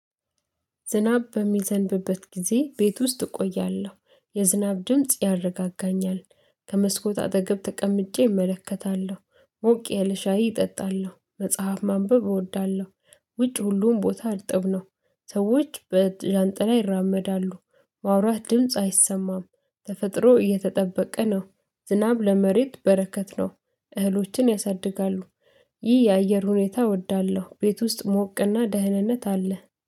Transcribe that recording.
ዝናብ በሚዘንብበት ጊዜ ቤት ውስጥ እቆያለሁ የዝናብ ድምጽ ያረጋጋኛል ከመስኮት አጠገብ ተቀምጬ እመለከታለሁ። ሞቅ የለ ሻይ እጠጣለ፣ መጽሐፍ ማንበብ እወዳለሁ። ውጭ ሁሉም ቦታ እርጥብ ነው። ሰዎች በዣንጥላ ይራመዳሉ ማውራት ድምጽ አይሰማም ተፈጥሮ እየተጠበቀ ነው ዝናብ ለመሬት በረከት ነው እህሎችን ያሳድጋሉ። ይህ የአየር ሁኔታ እወዳለሁ ቤት ውስጥ ሞቅና ደህንነት አለ።